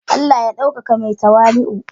Allah ya daukaka mai tawali'u.